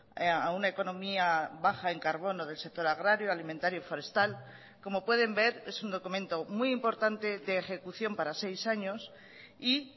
a una economía baja en carbono del sector agrario alimentario y forestal como pueden ver es un documento muy importante de ejecución para seis años y